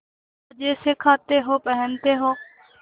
मजे से खाते हो पहनते हो